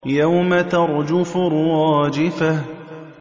يَوْمَ تَرْجُفُ الرَّاجِفَةُ